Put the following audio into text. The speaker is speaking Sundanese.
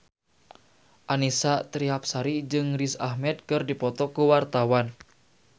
Annisa Trihapsari jeung Riz Ahmed keur dipoto ku wartawan